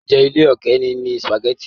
Oúnjẹ ilẹ̀ òkèrè ni sùpàgẹ́tì.